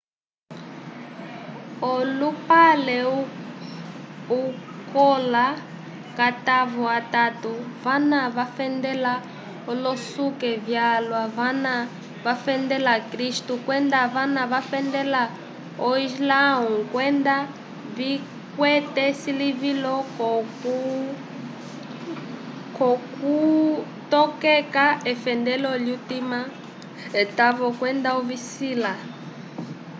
olupale ukola k'atavo atatu vana vafendela olosuku vyalwa vana vafndela kristu kwenda vana vafendela o islãwu kwenda vikwete esilivilo k'okutokeka efendelo lyutima etavo kwenda ovisila